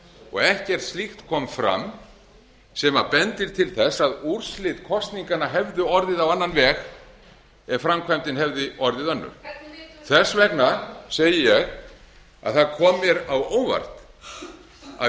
og ekkert slíkt kom fram sem bendir til þess að úrslit kosninganna hefðu orðið á annan veg ef framkvæmdin hefði orðið önnur þess vegna segi ég að það kom mér á óvart að í